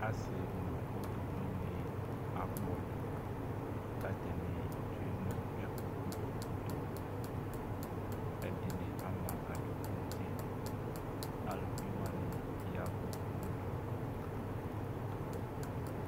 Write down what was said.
Asi nu uluvi ni akpɔdu katani tsoe nʋ ɛfʋ Kpɔ utokuƐdini ama adukʋ nutiAluvi wani yavʋ nudu